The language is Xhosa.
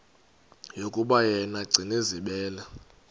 yokuba yena gcinizibele